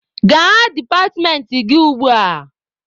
Gaa departmentị gị ugbua!